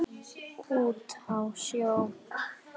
Út á sjó?